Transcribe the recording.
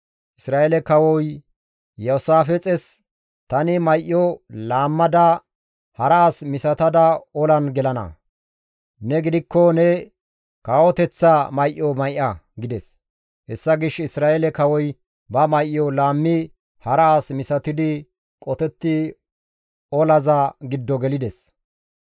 Isra7eele kawoy Iyoosaafixes, «Tani may7o laammada hara as misatada olan gelana; ne gidikko ne kawoteththa may7o may7a» gides. Hessa gishshas Isra7eele kawoy ba may7o laammi hara as misatidi qotetti olaza giddo gelides.